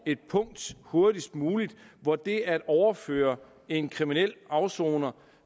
et punkt hurtigst muligt hvor det at overføre en kriminel afsoner